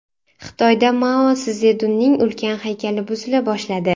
Xitoyda Mao Szedunning ulkan haykali buzila boshladi.